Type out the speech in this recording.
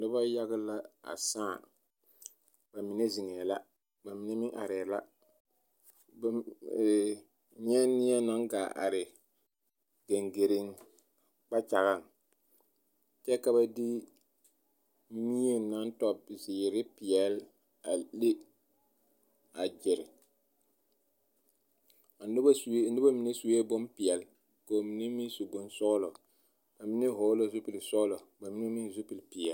Dɔbɔ yaga la a sãã, bamine zeŋɛɛ la ba mine arɛɛ la nyɛ neɛ naŋ gaa are geŋgereŋ kpakyagaŋ kyɛ ka ba de mie naŋ tɔ zeere peɛle a le a gyere, a noba mine sue bompeɛle ka bamine meŋ su bonsɔgelɔ bamine hɔɔle la zupili sɔgelɔ ka mine meŋ zupili peɛle.